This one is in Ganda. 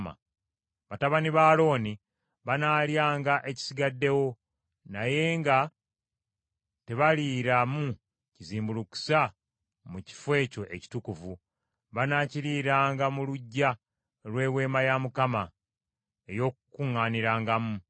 Batabani ba Alooni banaalyanga ekisigaddewo, naye nga tebaliiramu kizimbulukusa mu kifo ekyo ekitukuvu; banaakiriiranga mu luggya lw’Eweema ey’Okukuŋŋaanirangamu.